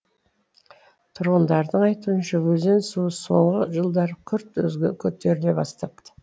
тұрғындардың айтуынша өзен суы соңғы жылдары күрт көтеріле бастапты